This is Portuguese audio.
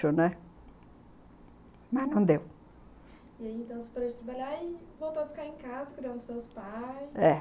mas não deu. E aí, então, você parou de trabalhar e voltou a ficar em casa cuidando dos seus pais? é.